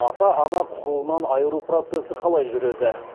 ата ана құқығынан айыру процесі қалай жүреді